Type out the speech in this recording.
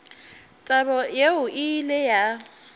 taba yeo e ile ya